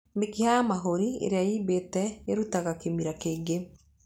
Mĩkiha ya mahũri ĩrĩa yumbĩte ĩrutaga kĩmira kĩingĩ.